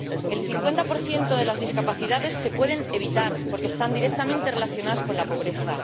El 50 de las discapacidades se puede evitar, porque están directamente relacionadas con la pobreza.